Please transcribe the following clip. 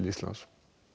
lands